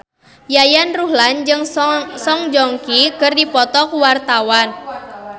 Yayan Ruhlan jeung Song Joong Ki keur dipoto ku wartawan